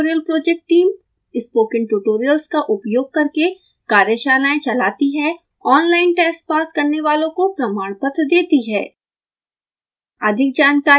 spoken tutorial project team spoken tutorials का उपयोग करके कार्यशालाएं चलाती है ऑनलाइन टेस्ट पास करने वालों को प्रमाणपत्र देती है